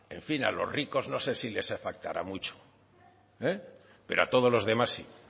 en fin a los ricos no sé si les afectará mucho pero a todos los demás sí